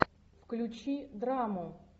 включи драму